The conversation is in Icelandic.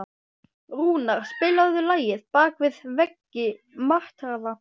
Rúnar, spilaðu lagið „Bak við veggi martraðar“.